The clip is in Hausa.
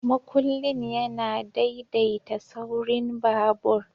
Makullin yana daidaita saurin babur.